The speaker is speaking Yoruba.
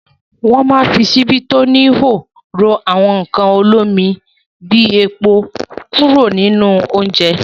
Wọ́ máa ń fi ṣíbí tí ó níhò ro àwọn nǹkan olómi bí epo kúrò nínú oúnjẹ.